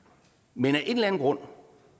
men af en eller anden grund